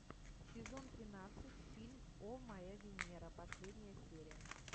сезон тринадцать фильм о моя венера последняя серия